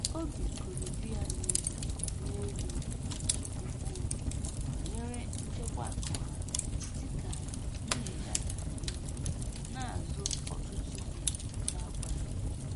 Obi koro di ya n'elu n'elu nke ukwuu banyere nchekwa akụ ha dịka nwunye ya gara n'ihu na-azụ ọtụtụ ihe na-agwaghị ya